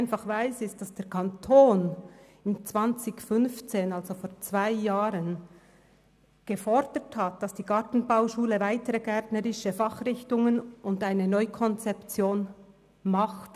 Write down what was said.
Ich weiss, dass der Kanton im Jahr 2015 gefordert hat, die Gartenbauschule solle weitere gärtnerische Fachrichtungen anbieten und eine Neukonzeption vornehmen.